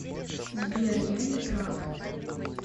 сбер я не прав